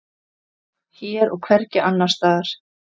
Hér og hvergi annars staðar.